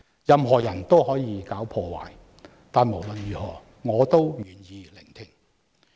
任何人都可以搞破壞，但無論如何，我也願意聆聽。